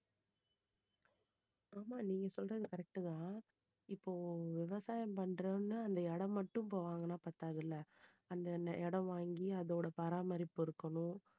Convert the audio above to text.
ஆமா நீங்க சொல்லுறது correct தான் இப்போ விவசாயம் பண்றதுன்னா அந்த இடம் மட்டும் இப்போ வாங்குனா பத்தாதுல்ல அந்த இடம் வாங்கி அதோட பராமரிப்பு இருக்கணும்